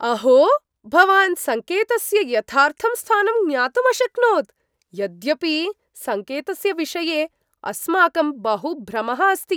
अहो! भवान् सङ्केतस्य यथार्थं स्थानं ज्ञातुम् अशक्नोत्, यद्यपि सङ्केतस्य विषये अस्माकं बहुभ्रमः अस्ति।